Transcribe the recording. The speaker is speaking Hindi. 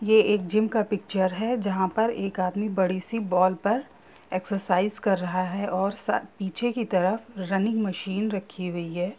ये एक जिम का पिक्चर है जहाँ पर एक आदमी बड़ी-सी बॉल पर एक्सरसाइज कर रहा है और सा पीछे की तरफ रनिंग मशीन रखी हुई है।